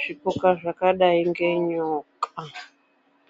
zvipuka zvakadai ngenyoka.